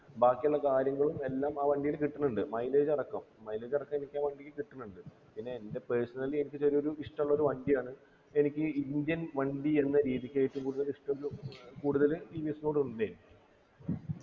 ബാക്കിയുള്ള കാര്യങ്ങളും എല്ലാം ആ വണ്ടിയില് കിട്ടുന്നുണ്ട് mileage അടക്കം mileage അടക്കം എനിക്കാവണ്ടിയില് കിട്ടുന്നുണ്ട് പിന്നെ എൻ്റെ personally എനിക്ക് ചെറിയൊരു ഇഷ്ടള്ളൊരു വണ്ടിയാണ് എനിക്ക് indian വണ്ടി എന്ന രീതിക്ക് ഏറ്റവും കൂടുതൽ ഇഷ്ടഉള്ള കൂടുതല് ടി വി എസ്നോട് ഉണ്ടേ